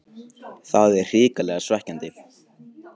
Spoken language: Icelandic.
Það er hrikalega svekkjandi.